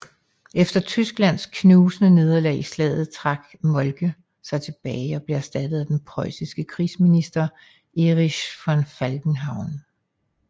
Efter Tysklands knusende nederlag i slaget trak Moltke sig tilbage og blev erstattet af den prøjsiske krigsminister Erich von Falkenhayn